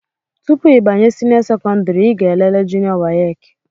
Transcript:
Tụpụ ịbanye senio sekondari i ga-elele junió wace.